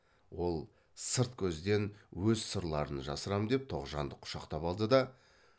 ол сырт көзден өз сырларын жасырам деп тоғжанды құшақтап алды да